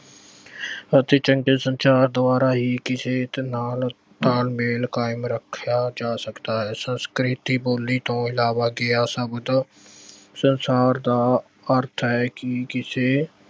ਅਤੇ ਚੰਗੇ ਸੰਚਾਰ ਦੁਆਰਾ ਹੀ ਕਿਸੇ ਇੱਕ ਨਾਲ ਤਾਲਮੇਲ ਕਾਇਮ ਰੱਖਿਆ ਜਾ ਸਕਦਾ ਹੈ ਸੰਸਕ੍ਰਿਤੀ ਬੋਲੀ ਤੋਂ ਇਲਾਵਾ ਸੰਸਾਰ ਦਾ ਅਰਥ ਹੈ ਕਿ ਕਿਸੇ